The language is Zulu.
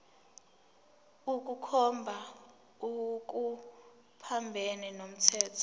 ukukhomba okuphambene nomthetho